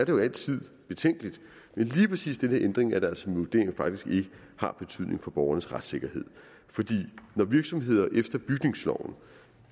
jo altid betænkeligt men lige præcis den her ændring er det altså min vurdering faktisk ikke har betydning for borgernes retssikkerhed for når virksomheder efter bygningsloven